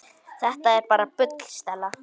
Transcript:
Þetta er bara bull, Stella.